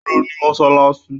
Duro ni Mossalassi